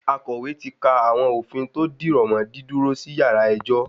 Akọ̀wé ti ka àwọn òfin tò dìrọ̀mọ́ dídúró sí yàrá ẹjọ́.